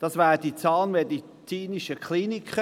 Es betrifft die Zahnmedizinischen Kliniken.